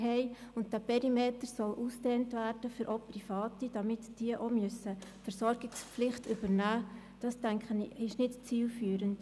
Dass dieser Perimeter auf die Privaten ausgedehnt werden soll, damit diese ebenfalls eine Versorgungspflicht wahrnehmen müssen, erachte ich nicht als zielführend.